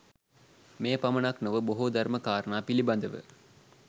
මෙය පමණක් නොව, බොහෝ ධර්ම කාරණා පිළිබඳව